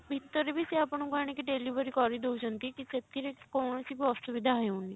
ଭିତରେ ବି ସେ ଆପଣଙ୍କୁ ଆଣିକି delivery କରିଦଉଛନ୍ତି କି ସେଥିରେ କୌଣସି ବି ଅସୁବିଧା ହେଉନି।